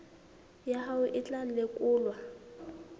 ya hao e tla lekolwa